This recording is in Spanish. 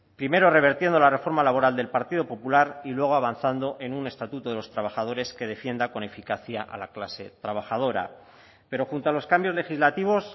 primero revertiendo la reforma laboral del partido popular y luego avanzando en un estatuto de los trabajadores que defienda con eficacia a la clase trabajadora pero junto a los cambios legislativos